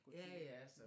Gå tur med